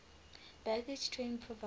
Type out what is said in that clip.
baggage train provided